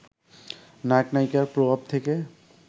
নায়ক-নায়িকার প্রভাব থেকে